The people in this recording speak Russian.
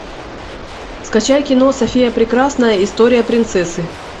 скачай кино софия прекрасная история принцессы